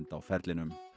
á ferlinum